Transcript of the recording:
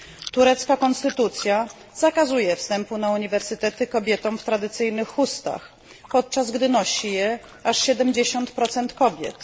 Turecka konstytucja zakazuje wstępu na uniwersytety kobietom w tradycyjnych chustach, podczas gdy nosi je aż 70 kobiet.